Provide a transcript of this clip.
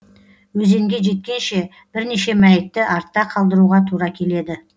өзенге жеткенше бірнеше мәйітті артта қалдыруға тура келеді